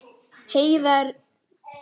Heiða kom inn.